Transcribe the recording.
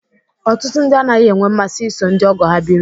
Ọtụtụ ndị anaghị enwe mmasị iso ndị ọgọ ha biri